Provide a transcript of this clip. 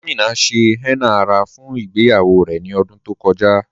Amina ṣẹ̀ henna ara fún ìgbèyawó rè ní ọ̀dún tó kọja.